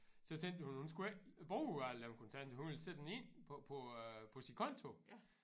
Så tænkte vi hun hun skulle ikke bruge alle dem kontakter hun ville sætte dem ind på på øh på sin konto